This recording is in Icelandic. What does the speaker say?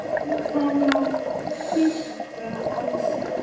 Það má giska á svör.